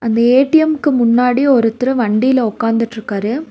அந்த ஏ_டி_எம்க்கு முன்னாடி ஒருத்தரு வண்டில உக்காந்துட்ருக்காரு.